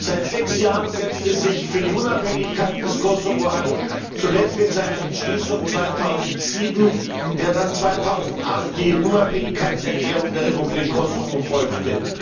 Seit sechs Jahren setzt es sich für die Unabhängigkeit des Kosovo ein, zuletzt in seiner Entschließung 2007, der dann 2008 die Unabhängigkeitserklärung der Republik Kosovo folgte.